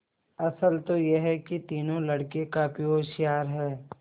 असल तो यह कि तीनों लड़के काफी होशियार हैं